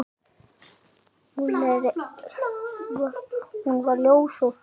Hún var ljós og fögur.